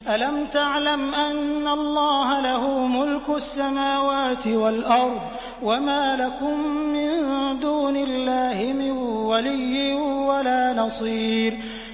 أَلَمْ تَعْلَمْ أَنَّ اللَّهَ لَهُ مُلْكُ السَّمَاوَاتِ وَالْأَرْضِ ۗ وَمَا لَكُم مِّن دُونِ اللَّهِ مِن وَلِيٍّ وَلَا نَصِيرٍ